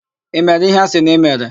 I mere íhé a sị na i mere?